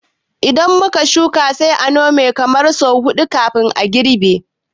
Idan muka shuka, sai mu Nome kamar sau huɗu kafin girbi